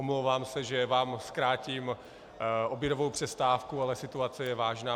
Omlouvám se, že vám zkrátím obědovou přestávku, ale situace je vážná.